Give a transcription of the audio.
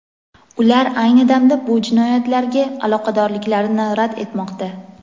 ular ayni damda bu jinoyatlarga aloqadorliklarini rad etmoqda.